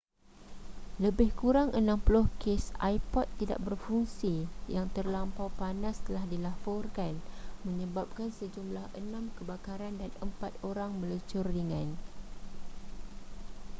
lebih kurang 60 kes ipod tidak berfungsi yang terlampau panas telah dilaporkan menyebabkan sejumlah enam kebakaran dan empat orang melecur ringan